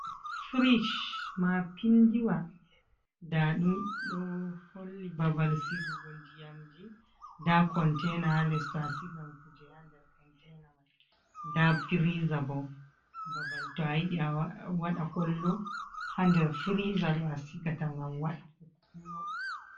firic maapinndiwa, ndaa ɗum ɗo holli babal sigugo ndiyamji, nda konteena haa les, to a sigan kuje haa nder konteena may, nda firiiza bo babal to a yiɗi a waɗa kollo haa nder firiiza ɗo a sigata ngam waɗa kollo.